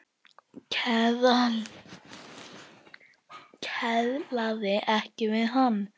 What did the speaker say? Kelaði ekki við hann.